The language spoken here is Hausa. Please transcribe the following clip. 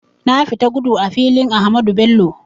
Na fita gudu a filin Ahmadu Bello